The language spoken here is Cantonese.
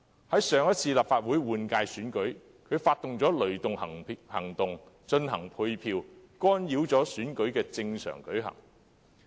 在上次立法會換屆選舉中，他更策劃"雷動計劃"進行配票，干擾選舉正常運作。